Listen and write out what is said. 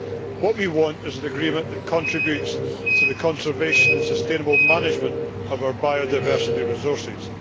What we want is an agreement that contributes to the conservation and sustainable management of our biodiversity resources.